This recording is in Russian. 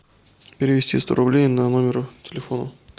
перевести сто рублей на номер телефона